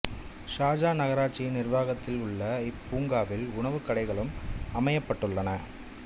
Sharjah நகராட்சியின் நிர்வாகத்தில் உள்ள இப்பூங்காவில் உணவுக் கடைகளும் அமைக்கப்பட்டுள்ளன